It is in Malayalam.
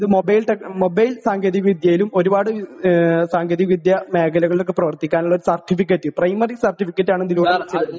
മൊബൈല് ടെക് മൊബൈൽ സാങ്കേതിക വിദ്യയിലും ഒരുപാട് സാങ്കേതിക വിദ്യ മേഖലകളിൽ ഒക്കെ പ്രവർത്തിക്കുവാനുള്ള ഒരു സർട്ടിഫിക്കറ്റ് പ്രൈമറി സർട്ടിഫിക്കറ്റാണ് ഇതിലൂ